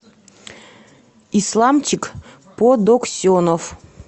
исламчик подоксенов